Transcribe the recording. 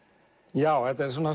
já þetta er